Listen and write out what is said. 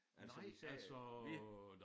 Altså især øh vi